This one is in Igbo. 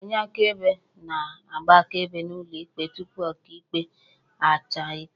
Onye akaebe na-agba akaebe n'ụlọ ikpe tupu Ọkaikpe a chaa ikpe